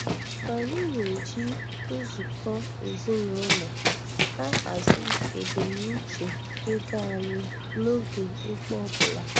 Anyị na-eji nzukọ ezinụlọ ahazi ebumnuche-ego anyị n'oge ugbo ọbụla.